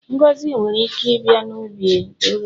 Ngọzi nwere ike ịbịa n'ụdị ohere.